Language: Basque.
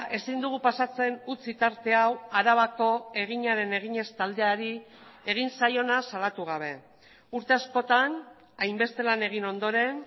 ezin dugu pasatzen utzi tarte hau arabako eginaren eginez taldeari egin zaiona salatu gabe urte askotan hainbeste lan egin ondoren